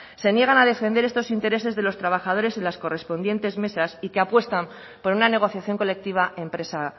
se niegan a defender estos intereses de los trabajadores en las correspondientes mesas y que apuestan por una negociación colectiva empresa